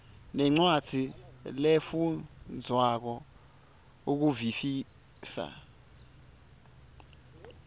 nencwadzi lefundvwako ukuvisisa